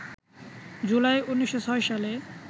জুলাই, ১৯০৬ সালে